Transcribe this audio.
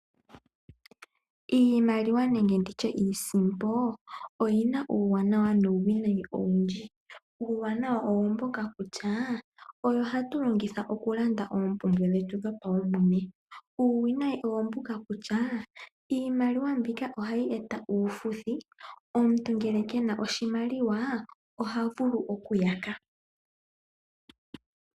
Iimaliwa nenge nditye iisimpo oyina uuwanawa nuuwinayi owundji. Uuwanawa owo mboka kutya oyo hatu longitha okulanda oompumbwe dhetu dhopawumwene. Uuwinayi owo mbuka kutya iimaliwa mbika ohayi eta uufuthi, omuntu ngele kena oshimaliwa ohavulu okuyaka.